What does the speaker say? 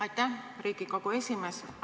Aitäh, Riigikogu esimees!